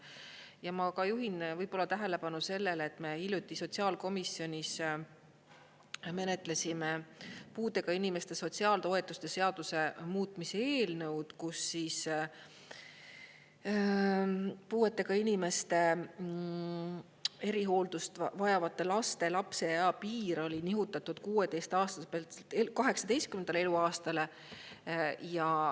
Ja ma ka juhin võib-olla tähelepanu sellele, et me hiljuti sotsiaalkomisjonis menetlesime puudega inimeste sotsiaaltoetuste seaduse muutmise eelnõu, kus puuetega inimeste erihooldust vajavate laste lapseea piir oli nihutatud 16. aastaselt 18. eluaastale.